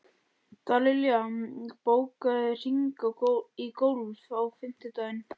Dallilja, bókaðu hring í golf á fimmtudaginn.